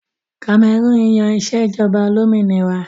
Kamẹrúùn yan ìṣèjọba olómìnira